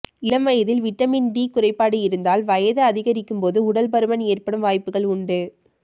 இளம் வயதில் vitamin D குறைபாடு இருந்தால் வயது அதிகரிக்கும்போது உடல் பருமன் ஏற்படும் வாய்ப்புகள் உண்டு